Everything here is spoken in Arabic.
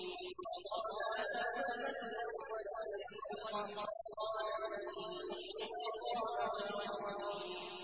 وَضَرَبَ لَنَا مَثَلًا وَنَسِيَ خَلْقَهُ ۖ قَالَ مَن يُحْيِي الْعِظَامَ وَهِيَ رَمِيمٌ